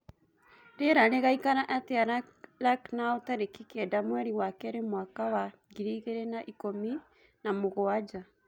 rĩera rĩgaĩkara atĩa lucknow tarĩkĩ kenda mwerĩ wa keri mwaka wa ngiriĩgĩrĩ na ĩkũmĩ na mũgwanja